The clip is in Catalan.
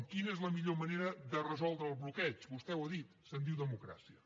quina és la millor manera de resoldre el bloqueig vostè ho ha dit se’n diu democràcia